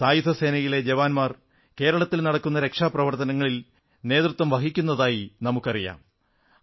സായുധസേനയിലെ ജവാന്മാർ കേരളത്തിൽ നടക്കുന്ന രക്ഷാപ്രവർത്തനങ്ങളിൽ നേതൃത്വം വഹിക്കുന്നതായി നമുക്കറിയാം